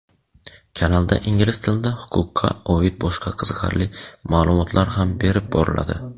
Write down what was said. kanalda ingliz tilida huquqqa oid boshqa qiziqarli ma’lumotlar ham berib boriladi.